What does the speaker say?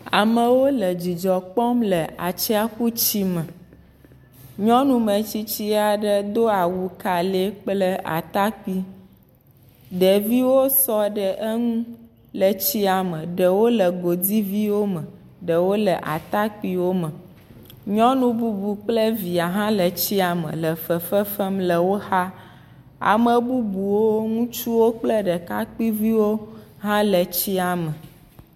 Amewo le dzidzɔ kpɔm le atsiaƒu tsia me, nyɔnu me tsitsi aɖe do awu ka lɛɛ kple atakpui, ɖeviwo sɔ ɖe eŋu le tsia me, ɖewo le godiviwo me, ɖewo le atakpuiwo me, nyɔnu bubu kple via hã le tsia me le fefe fem le wo xa, ame bubuwo, ŋutsuwo kple ɖekakpuiviwo hã le tsia me.